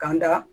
K'an da